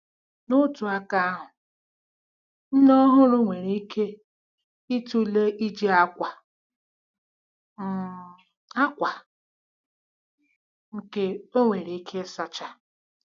N'otu aka ahụ, nne ọhụrụ nwere ike ịtụle iji akwa um akwa nke ọ nwèrè ike ịsacha.